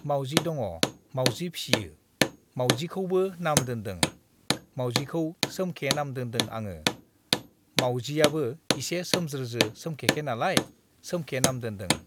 माउजि दङ। माउजि फिसियो । माउजिखौबो नाम दोनदों, माउजिखौ सोमखे नाम दोनदों आङो । माउियाबो इसे सोमज्रोज्रो सोमखेखे नालाय सोमखे नाम दोनदों।